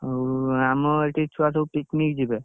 ଆଉ ଆମ ଏଠି ଛୁଆ ସବୁ picnic ଯିବେ